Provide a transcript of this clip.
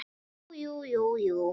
Jú jú, jú jú.